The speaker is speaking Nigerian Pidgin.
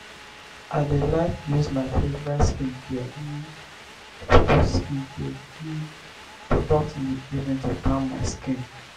i dey like use my favorite skincare um products skincare um products in the evening to calm my skin.